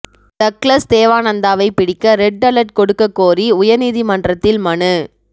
Douglas தேவானந்தாவைப் பிடிக்க red alert கொடுக்கக் கோரி உயர்நீதிமன்றத்தில் மனு